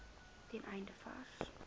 ten einde vars